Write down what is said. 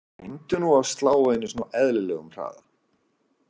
Reyndu nú að slá einu sinni á eðlilegum hraða.